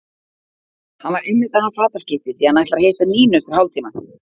Hann var einmitt að hafa fataskipti því að hann ætlar að hitta Nínu eftir hálftíma.